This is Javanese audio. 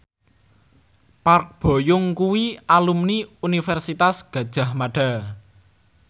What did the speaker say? Park Bo Yung kuwi alumni Universitas Gadjah Mada